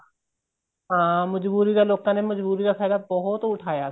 ਹਾਂ ਮਜਬੂਰੀ ਦਾ ਲੋਕਾਂ ਨੇ ਮਜਬੂਰੀ ਦਾ ਫਾਇਦਾ ਬਹੁਤ ਉਠਾਇਆ